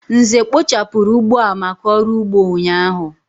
Nze kpochapuru ugbo a maka oru ugbo ụnyaahụ.